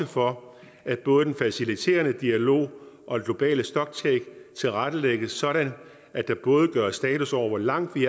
for at både den faciliterende dialog og global stocktake tilrettelægges sådan at der både gøres status over hvor langt vi